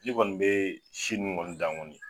N'i kɔni bee si ŋunnu kɔni dan kɔni